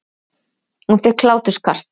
Hún fékk hláturkast.